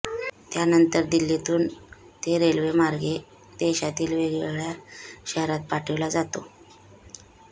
त्यानंतर दिल्लीतून ते रेल्वेमार्गे देशातील वेगवेगळ्या शहरांत पाठविला जातो